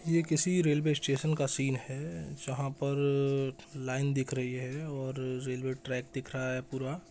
ये किसी railway station का सीन है जहां पर लाइन दिख रही है और रेल्वे ट्रैक दिख रहा है पूरा--